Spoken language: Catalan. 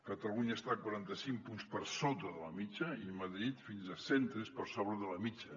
catalunya està quaranta cinc punts per sota de la mitjana i madrid fins a cent tres per sobre de la mitjana